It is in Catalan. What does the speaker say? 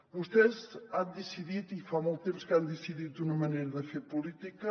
vostès han decidit i fa molt temps que ho han decidit una manera de fer polí·tica